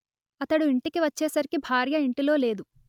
అతడు ఇంటికి వచ్చేసరికి భార్య ఇంటిలో లేదు